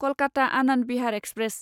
Kolkata Anand Vihar express